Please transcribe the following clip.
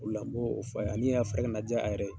O de la n m'o fɔ a ɲɛna ani a fari kana ja a yɛrɛ ye.